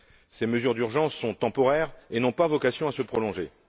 Ces mesures d'urgence sont temporaires et n'ont pas vocation à se prolonger.